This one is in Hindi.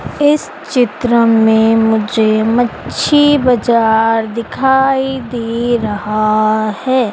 इस चित्र में मुझे मच्छी बाजार दिखाई दे रहा है।